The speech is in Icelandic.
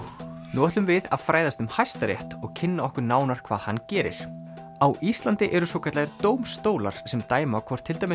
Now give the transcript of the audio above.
nú ætlum við að fræðast um Hæstarétt og kynna okkur nánar hvað hann gerir á Íslandi eru svokallaðir dómstólar sem dæma hvort til dæmis